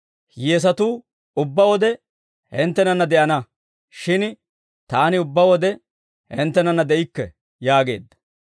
Hiyyeesatuu ubbaa wode hinttenanna de'ana; shin Taani ubbaa wode hinttenana de'ikke» yaageedda.